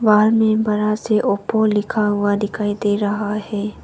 बाहर में बड़ा सा ओप्पो लिखा हुआ दिखाई दे रहा है।